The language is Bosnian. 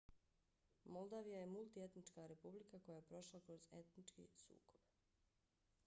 moldavija je multietnička republika koja je prošla kroz etnički sukob